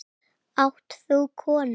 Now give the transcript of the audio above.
Átt þú konu?